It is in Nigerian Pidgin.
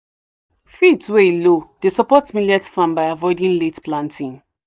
fields wey low dey support millet farm by avoiding late planting."